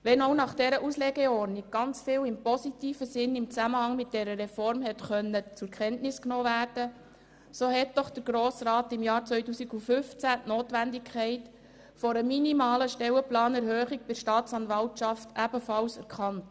Wenngleich nach dieser Auslegeordnung im Zusammenhang mit der Reform vieles positiv zur Kenntnis genommen werden konnte, hat der Grosse Rat im Jahr 2015 die Notwendigkeit einer minimalen Stellenplanerhöhung bei der Staatsanwaltschaft erkannt.